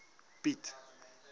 piet